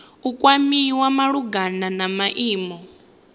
u kwamiwa malugana na maimo